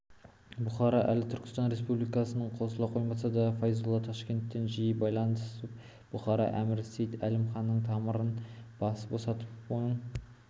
бұхара әлі түркістан республикасына қосыла қоймаса да файзолла ташкентпен жиі байланысып бұхара әмірі сейд-әлім ханның тамырын босатып оның